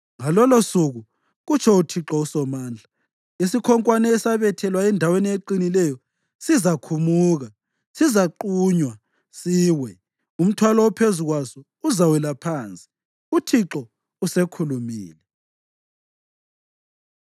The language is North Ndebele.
“Ngalolosuku,” kutsho uThixo uSomandla, “isikhonkwane esabethelwa endaweni eqinileyo sizakhumuka; sizaqunywa siwe, umthwalo ophezu kwaso uzawela phansi.” UThixo usekhulumile.